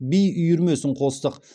би үйірмесін қостық